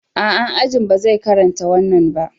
A'a, Ajin ba zai karanta wannan ba.